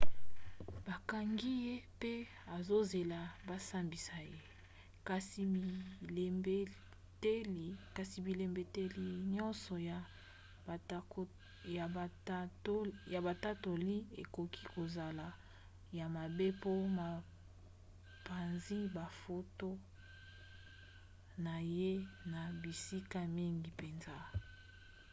bakangi ye mpe azozela basambisa ye kasi bilembeteli nyonso ya batatoli ekoki kozala ya mabe mpo bapanzi bafoto na ye na bisika mingi mpenza